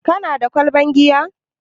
Kana da kwalban giya?